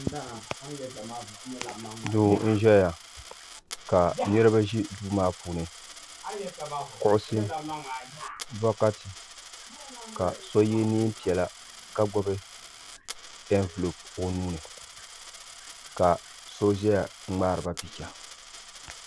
Duu n ʒɛya ka niriba ʒi duu maa puuni kuɣusi bokati ka so ye niɛn'piɛla ka gbibi envilopi o nuuni ka so ʒɛya n ŋmaari ba picha.